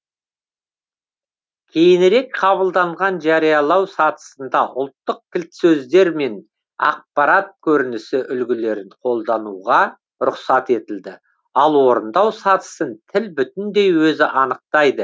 кейінірек қабылданған жариялау сатысында ұлттық кілтсөздер мен ақпарат көрінісі үлгілерін қолдануға рұқсат етілді ал орындау сатысын тіл бүтіндей өзі анықтайды